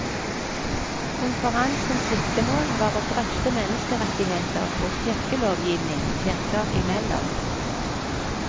Konferansens siktemål var å drøfte menneskerettigheter og kirkelovgivning kirker imellom.